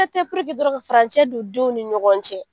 dɔrɔn ka furancɛ don denw ni ɲɔgɔn cɛ.